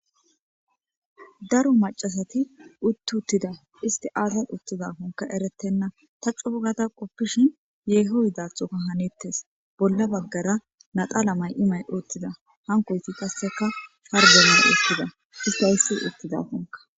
daro macasati utti uttida isti aazan uttidafonka eretenna ta cuugada qoppishin yeeho yidathoka hanettes bolla baggara naxala may7imay uuttida hankoyti qasseka pargemaa uuttida ipayssi uttidafonka